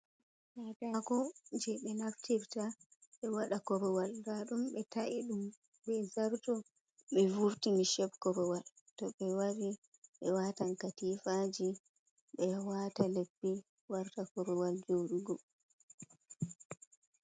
Katakoje ɓe naftirta ɓe waɗa korowal ndadum be ta’i ɗum be zarto ɓe vurti shep korowal to ɓe watan katifaji, ɓe wata leppi warta korowal joɗugo.